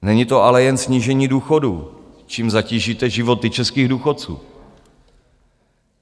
Není to ale jen snížení důchodů, čím zatížíte životy českých důchodců.